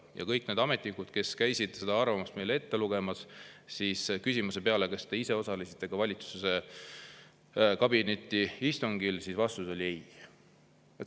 Ja kõik need ametnikud, kes käisid seda arvamust meile ette lugemas, küsimuse peale, kas te ise osalesite ka valitsuse kabinetiistungil, vastasid ei.